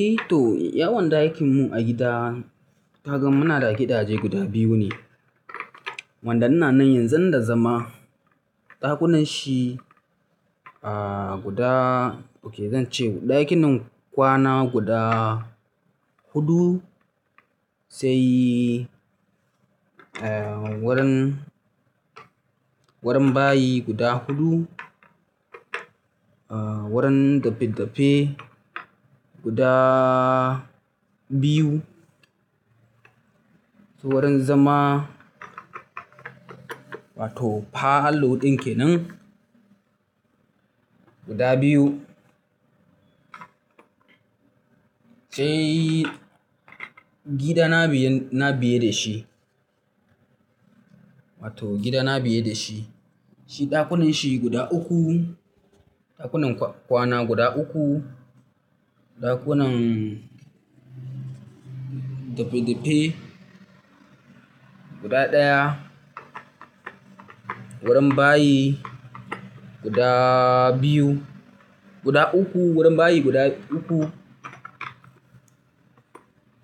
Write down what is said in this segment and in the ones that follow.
Eh to yawan dakin mu agida kaga muna da gidaje guda biyu ne wanda ina nan yanzun da zama. Ɗakunan shi, ah guda, oke zan ce ɗakinin kwana guda hudu, sai, wurin, warin bayi guda hudu, wurin dafe-dafe guda biyu, to wurin zama, wato parlour ɗin kenan guda biyu, sai gida na biyun, na biye de shi, wato gida na biye da shi. Shi ɗakunan shi guda uku, ɗakunan kwana guda uku, ɗakunan, dafe-dafe guda ɗaya, wurin bayi guda biyu, guda uku, wurin bayi guda uku.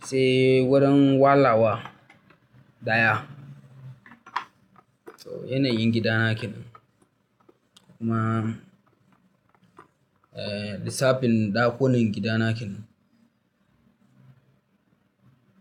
Sai wurin walawa ɗaya. To yanayin gida na kenan. Kuma, eh lissafin dakunan gida na kenan.